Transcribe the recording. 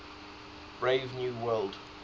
brave new world